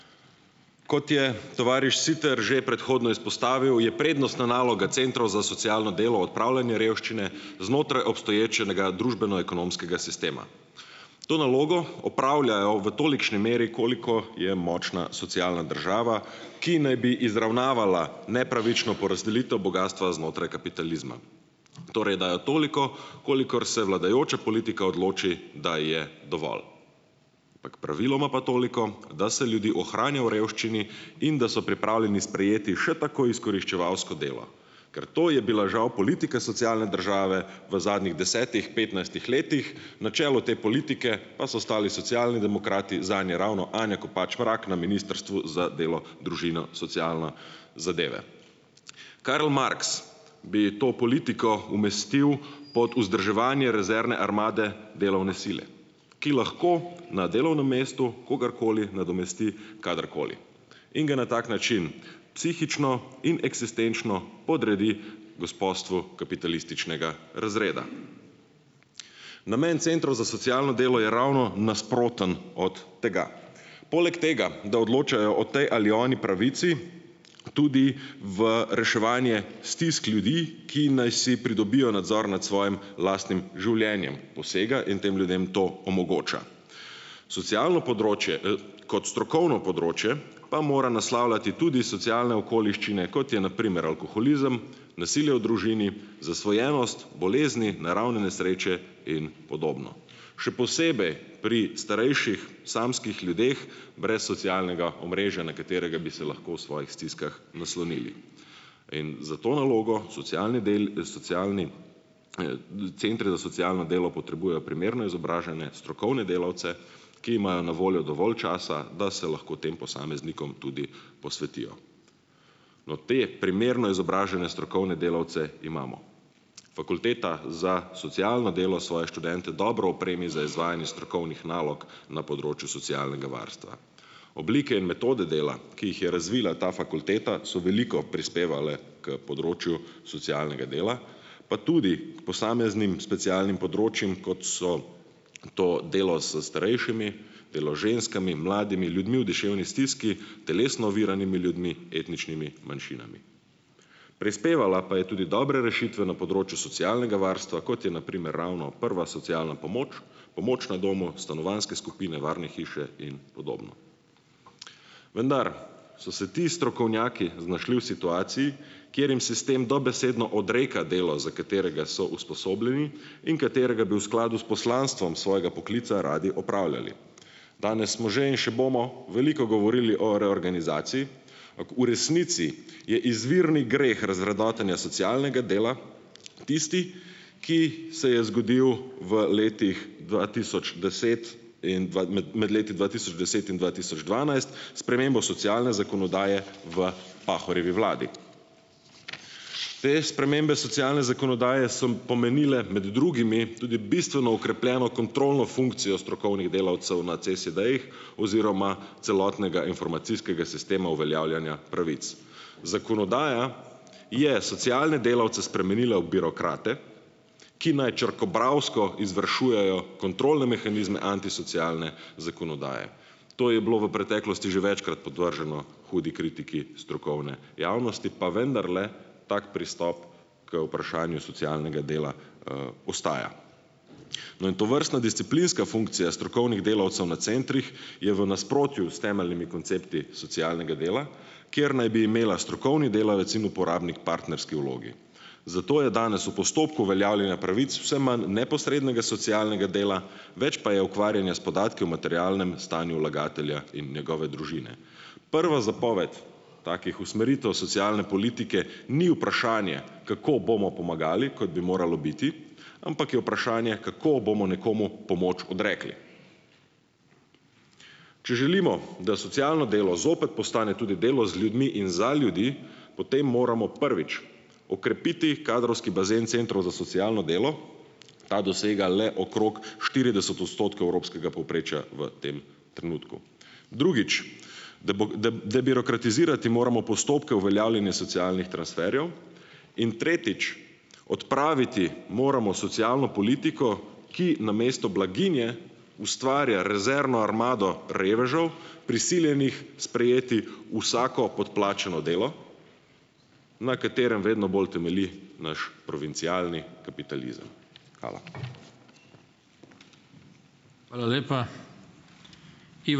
Kot je tovariš Siter že predhodno izpostavil, je prednostna naloga centrov za socialno delo odpravljanje revščine znotraj obstoječega družbeno ekonomskega sistema. To nalogo opravljajo v tolikšni meri, koliko je močna socialna država, ki naj bi izravnavala nepravično porazdelitev bogastva znotraj kapitalizma. Torej, dajo toliko, kolikor se vladajoča politika odloči, da je dovolj. Ampak praviloma pa toliko, da se ljudi ohranja v revščini in da so pripravljeni sprejeti še tako izkoriščevalsko delo, ker to je bila žal politika socialne države v zadnjih desetih, petnajstih letih, na čelu te politike pa so stali Socialni demokrati, zanje ravno Anja Kopač Mrak na Ministrstvu za delo, družino, socialno zadeve. Karl Marx bi to politiko umestil pod vzdrževanje rezervne armade delovne sile, ki lahko na delovnem mestu kogarkoli nadomesti kadarkoli in ga na tak način psihično in eksistenčno podredi gospostvu kapitalističnega razreda. Namen centrov za socialno delo je ravno nasproten od tega. Poleg tega, da odločajo o tej ali oni pravici tudi v reševanje stisk ljudi, ki naj si pridobijo nadzor nad svojim lastnim življenjem, posega in tem ljudem to omogoča. Socialno področje, kot strokovno področje pa mora naslavljati tudi socialne okoliščine, kot je na primer alkoholizem, nasilje v družini, zasvojenost, bolezni, naravne nesreče in podobno. Še posebej pri starejših samskih ljudeh brez socialnega omrežja, na katerega bi se lahko v svojih stiskah naslonili. In za to nalogo socialni socialni, centri za socialno delo potrebujejo primerno izobražene strokovne delavce, ki imajo na voljo dovolj časa, da se lahko tem posameznikom tudi posvetijo. No, te primerno izobražene strokovne delavce imamo. Fakulteta za socialno delo svoje študente dobro opremi za izvajanje strokovnih nalog na področju socialnega varstva. Oblike in metode dela, ki jih je razvila ta fakulteta, so veliko prispevale k področju socialnega dela, pa tudi k posameznim specialnim področjem, kot so to delo s starejšimi, delo z ženskami, mladimi ljudmi v duševni stiski, telesno oviranimi ljudmi, etničnimi manjšinami. Prispevala pa je tudi dobre rešitve na področju socialnega varstva, kot je na primer ravno prva socialna pomoč, pomoč na domu, stanovanjske skupine, varne hiše in podobno. Vendar so se ti strokovnjaki znašli v situaciji, kjer jim sistem dobesedno odreka delo, za katerega so usposobljeni in katerega bi v skladu s poslanstvom svojega poklica radi opravljali. Danes smo že in še bomo veliko govorili o reorganizaciji. V resnici je izvirni greh razvrednotenja socialnega dela tisti, ki se je zgodil v letih dva tisoč deset in med leti dva tisoč deset in dva tisoč dvanajst s spremembo socialne zakonodaje v Pahorjevi vladi. Te spremembe socialne zakonodaje so pomenile med drugimi tudi bistveno okrepljeno kontrolno funkcijo strokovnih delavcev na CSD-jih oziroma celotnega informacijskega sistema uveljavljanja pravic. Zakonodaja je socialne delavce spremenila v birokrate, ki naj črkobralsko izvršujejo kontrolne mehanizme antisocialne zakonodaje. To je bilo v preteklosti že večkrat podvrženo hudi kritiki strokovne javnosti, pa vendarle tako pristop k vprašanju socialnega dela, ostaja. No, in tovrstna disciplinska funkcija strokovnih delavcev na centrih je v nasprotju s temeljnimi koncepti socialnega dela, kjer naj bi imela strokovni delavec in uporabnik partnerski vlogi. Zato je danes v postopku uveljavljanja pravic vse manj neposrednega socialnega dela, več pa je ukvarjanja s podatki o materialnem stanju vlagatelja in njegove družine. Prva zapoved takih usmeritev socialne politike ni vprašanje, kako bomo pomagali, kot bi moralo biti, ampak je vprašanje kako bomo nekomu pomoč odrekli. Če želimo, da socialno delo zopet postane tudi delo z ljudmi in za ljudi, potem moramo, prvič, okrepiti kadrovski bazen centrov za socialno delo, ta dosega le okrog štirideset odstotkov evropskega povprečja v tem trenutku. Drugič. debirokratizirati moramo postopke uveljavljenja socialnih transferjev in, tretjič, odpraviti moramo socialno politiko, ki namesto blaginje ustvarja rezervno armado revežev, prisiljenih sprejeti vsako podplačano delo, na katerem vedno bolj temelji naš provincialni kapitalizem. Hvala.